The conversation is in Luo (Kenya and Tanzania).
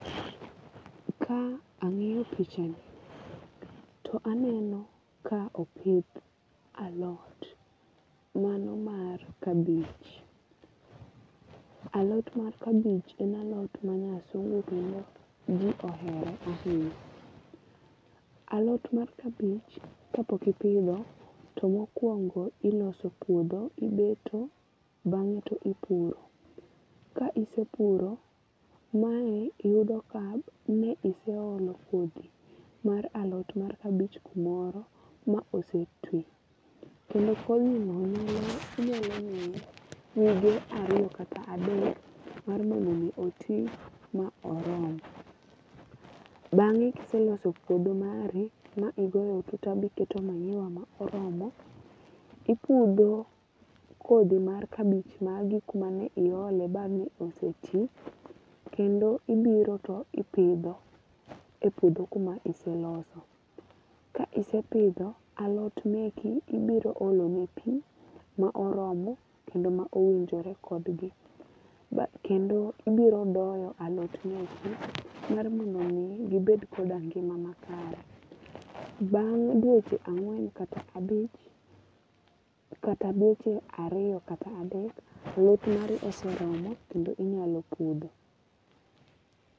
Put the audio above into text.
Ka ang'iyo pichani to aneno ka opidh alot mano mar kabich. Alot mar kabich en alot ma nyasungu kendo ji ohere ahinya. Alot mar kabich kapok ipidho to mokwongo iloso puodho. Ibeto. Bang'e to ipuro. Ka isepuro ma iyud kab mi iseolo kodhi mar alot mar kabich kumoro ma ose twi. Kendo kodhi no inyalo miye wige ariyo kata adek mondo mi otwi ma orom. Bang'e kiseloso puodho mari ma igoro matuta ma iketo manyiwa moromo, ipudho kodhi mar kabich ma gik mane iole bange ose twi kendo ibiro to ipidho e piuodho kuma iseloso. Ka isepidho alot meki ibiro olo ne pi ma oromo kendo ma owinjore kodgi. Kendo ibiro doyo alot meki mar miro mi gibed koda ngima makare. Bang' dweche ang'wen kata abich kata dweche ariyo kata adek, alot mari oseromo kendo inyalo pudho.